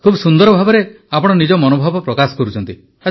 ଖୁବ୍ ସୁନ୍ଦର ଭାବେ ଆପଣ ନିଜ ମନୋଭାବ ପ୍ରକାଶ କରୁଛନ୍ତି